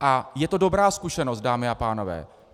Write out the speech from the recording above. A je to dobrá zkušenost, dámy a pánové.